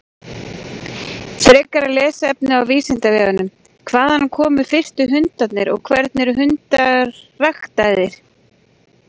Frekara lesefni á Vísindavefnum: Hvaðan komu fyrstu hundarnir og hvernig eru hundar ræktaðir?